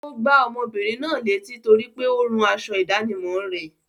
Ó gbá ọmọbìnrin náà létí torípé ó rún aṣọ ìdánimọ̀ rẹ̀.